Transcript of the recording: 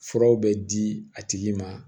Furaw bɛ di a tigi ma